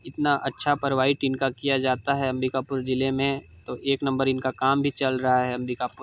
इतना अच्छा परवाइड इनका किया जाता है अंबिकापुर जिले में तो एक नंबर इनका काम भी चल रहा है अंबिकापुर--